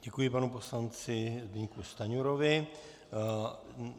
Děkuji panu poslanci Zbyňku Stanjurovi.